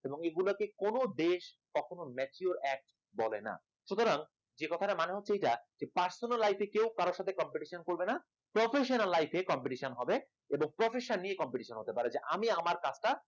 এবং এগুলোকে কোন দেশ কখনো mature act বলে না, সুতরাং এই কথাটার মানে হচ্ছে এটা personal life এ কেউ কারো সাথে competition করবে না, professional life এ competition হবে এবং professional নিয়ে competition হতে পারে আমি আমার কাজটা